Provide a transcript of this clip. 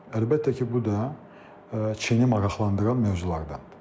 Əlbəttə ki, bu da Çini maraqlandıran mövzulardandır.